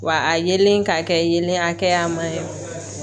Wa a yelen ka kɛ yelen hakɛya ma ye